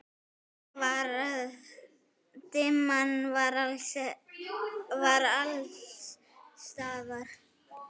Dimman var alls staðar.